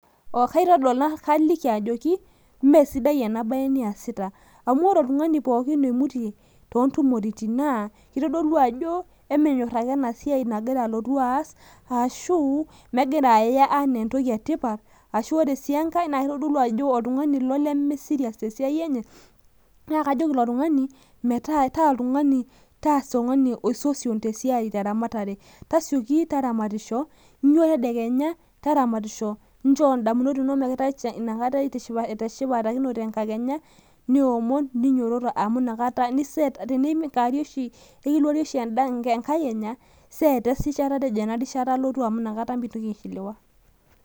kaliki ajoki imesidai ena siai niyasita amu ore oltung'ani oimutie too ntumoritin naa kitodolu ake ajo emenyor ake ena siai nagira alotu aas ashu megira aya enaa entoki etipat , ashu kitodolu ajo oltung'ani limisirias tesiai enye, naa kajoki taa otung'ani oisosion tasioki taramatisho inyio tedekenya taramatisho, tishipakinoiyu enkakenya tenaa ekiluarie oshi enkakenya eiseeta esimu ino.